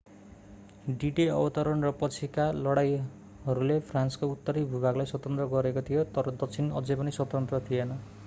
D-Day अवतरण र पछिका लडाइँहरूले फ्रान्सको उत्तरी भूभागलाई स्वतन्त्र गरेका थिए तर दक्षिण अझै पनि स्वतन्त्र थिएन